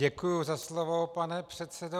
Děkuji za slovo, pane předsedo.